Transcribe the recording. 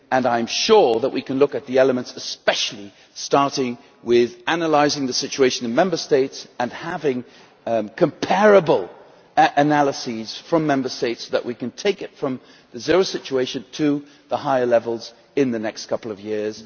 I am sure that we can look at the elements, particularly starting with analysing the situation in Member States and having comparable analyses from them, so that we can take it from the zero situation to the higher levels in the next couple of years.